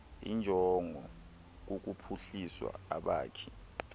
injongo kukuphuhlisa abakhi